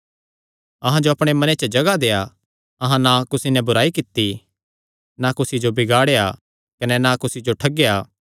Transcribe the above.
अहां जो अपणे मने च जगाह देआ अहां ना कुसी नैं बुराई कित्ती ना कुसी जो बिगाड़ेया कने ना कुसी जो ठगेया